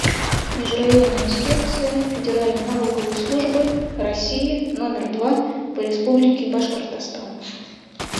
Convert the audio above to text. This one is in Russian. межрайонная инспекция федеральной налоговой службы россии номер два по республике башкортостан